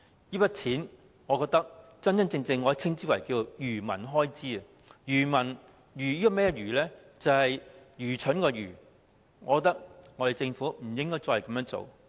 這筆錢，我覺得真的可以稱為"愚民開支"，"愚民"是愚蠢的"愚"，我覺得政府不應該再這樣做。